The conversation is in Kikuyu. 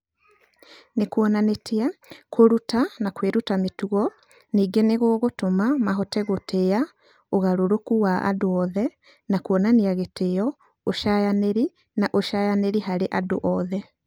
"Kũruta na kwĩruta mĩtugo ningĩ nĩ gũgũtũma mahote gũtĩa ũgarũrũku wa andũ othe, na kuonania gĩtĩo, ũcayanĩri na ũcayanĩri harĩ andũ othe, " nĩ kuonanĩtie.